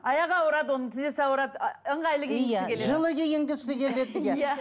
аяғы ауырады оның тізесі ауырады ы ыңғайлы киінгісі келеді жылы киінгісі келеді иә